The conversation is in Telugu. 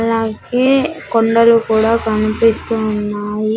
అలాగే కొండలు కూడా కనిపిస్తూ ఉన్నాయి.